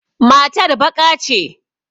Matar baƙa ce.